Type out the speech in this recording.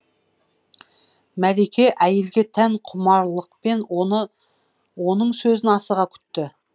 мәлике әйелге тән құмарлықпен оның сөзін асыға күтті